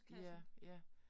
Ja ja